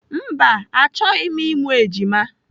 Mba, achọghị m ịmụ ejima.